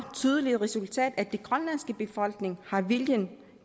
tydeligt resultat der at den grønlandske befolkning har viljen